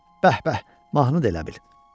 Bəh-bəh, mahnı da elə bil.